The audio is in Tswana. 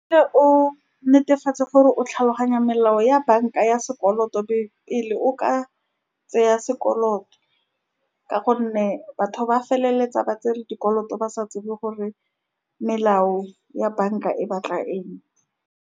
o netefatse gore o tlhaloganya melao ya banka ya sekoloto pele o ka tšea sekoloto, ka gonne batho ba feleletsa ba tsere dikoloto ba sa tsebe gore melao ya banka e batla eng.